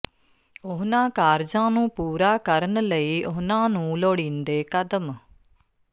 ਉਹਨਾਂ ਕਾਰਜਾਂ ਨੂੰ ਪੂਰਾ ਕਰਨ ਲਈ ਉਨ੍ਹਾਂ ਨੂੰ ਲੋੜੀਂਦੇ ਕਦਮ